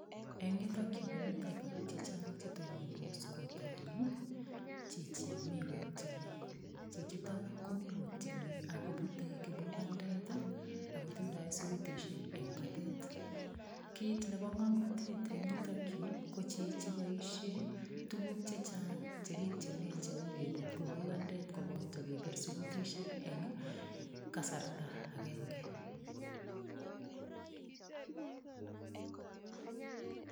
Eng yutok yu komito biik che chang che tonondos kotoni chichi mi kotieni. Chichito komi kotieni agobute kibugandet ago tindoi isugutisiek eng batet. Kit nebo ngomnotet en yutok yu, ko chichi koboisien tuguk che chang che kitienen cheu keput kipugandet koboto kepir sugutisiek eng kasarta agenge.